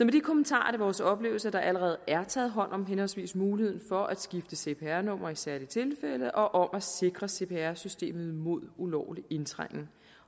de kommentarer er det vores oplevelse at der allerede er taget hånd om henholdsvis muligheden for at skifte cpr nummer i særlige tilfælde og om at sikre cpr systemet mod ulovlig indtrængen